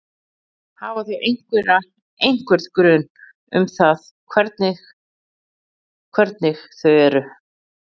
Hafa þau einhverja, einhvern grun um það hvernig hvernig þau eru?